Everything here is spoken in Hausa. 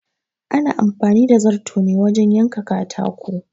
Ana amfani da zarto ne wajen yanka katako